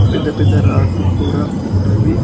పెద్ద పెద్ద రాడ్డు కూడా ఉన్నవి.